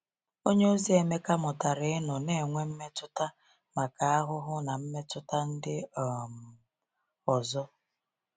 Onyeozi Emeka mụtara ịnọ na-enwe mmetụta maka ahụhụ na mmetụta ndị um ọzọ.